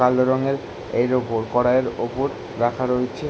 কালো রঙের এর ওপর কড়াইয়ের ওপর রাখা রয়েছে ।